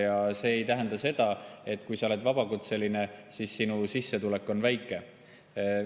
Kui sa oled vabakutseline, siis see ei tähenda seda, et sinu sissetulek on väike.